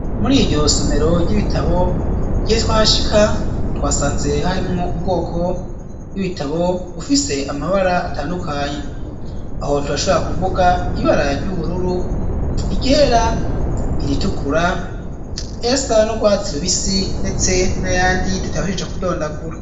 Muri iryo somero ry'ibitabo gihe twa shika twasanze harimwo ubwoko bw'ibitabo ufise amabara atandukanye aho tubashobora kuvuga ibarary' ubururu igera iritukura esa n'urwatsirubisi, ndetse na yandi tutabashije kudondagura.